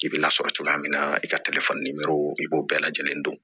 I bɛ lasɔrɔ cogoya min na i ka i b'o bɛɛ lajɛlen don